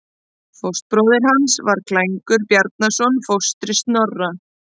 Fóstbróðir hans var Klængur Bjarnason, fóstri Snorra.